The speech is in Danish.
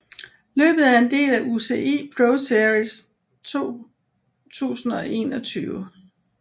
Løbet er en del af UCI ProSeries 2021